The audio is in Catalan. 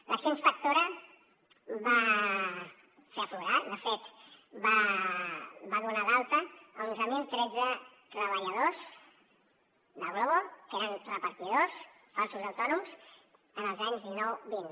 l’acció inspectora va fer aflorar de fet va donar d’alta a onze mil tretze treballadors de glovo que eren repartidors falsos autònoms els anys dinou vint